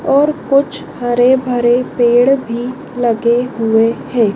और कुछ हरे भरे पेड़ भी लगे हुए हैं।